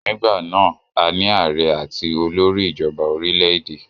Nígbà náà,a ní ààrẹ atí olórí ìjọba orílẹ̀-èdè.